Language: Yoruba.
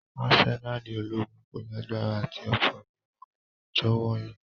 Asenali ologun ko lagbara ati ofo ni awọn ọjọ wọnyi.